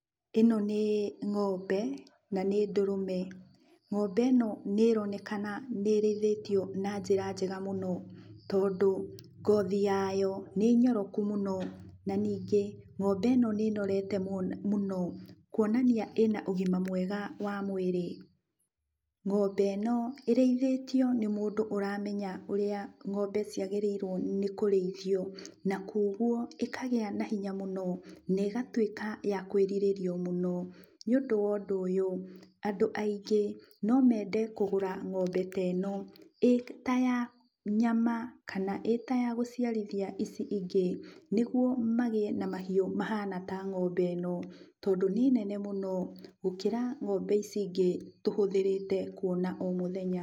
Ĩno nĩ ng'ombe na nĩ ndũrũme. Ng'ombe ĩno nĩ ĩronekana nĩ ĩrĩithĩtio na njĩra njega mũno. Tondũ ngothi yayo nĩ nyoroku mũno na ningĩ ng'ombe ĩno nĩ ĩnorete mũno kwonania ĩna ũgima mwega wa mwĩrĩ. Ng'ombe ĩno ĩrĩithĩtio nĩ mũndũ ũramenya ũrĩa ng'ombe ciagĩrĩirwo nĩ kũrĩithio, na kuugwo ĩkagĩa na hinya mũno negatuĩka ya kwĩrirĩrĩo mũno. Nĩũndũ wondũ ũyũ, andũ aingĩ nomende kũgũra ng'ombe teno ĩta ya nyama kana ĩtayagũciarithia ici ingĩ nĩgwo magĩe na mahiũ mahana ta ng'ombe ĩno tondũ nĩ nene mũno gũkĩra ng'ombe ici ingĩ tũhũthĩrĩte kuona o mũthenya.